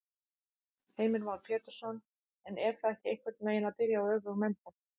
Heimir Már Pétursson: En er það ekki einhvern veginn að byrja á öfugum enda?